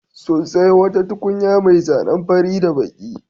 Sun sayo wata tukunya mai zanen fari da baƙi.